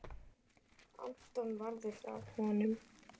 Anton varði frá honum.